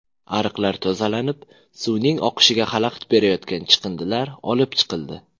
Ariqlar tozalanib, suvning oqishiga xalaqit berayotgan chiqindilar olib chiqildi.